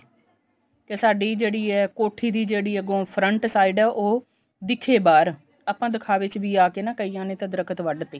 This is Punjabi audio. ਤੇ ਸਾਡੀ ਜਿਹੜੀ ਹੈ ਕੋਠੀ ਦੀ ਜਿਹੜੀ ਹੈ ਅੱਗੋ front side ਉਹ ਦਿਖੇ ਬਾਹਰ ਆਪਾਂ ਦਿਖਾਵੇ ਚ ਵੀ ਆਕੇ ਨਾ ਕਈਆਂ ਨੇ ਦਰੱਖਤ ਵੱਡ ਤੇ